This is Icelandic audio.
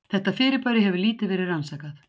Þetta fyrirbæri hefur lítið verið rannsakað.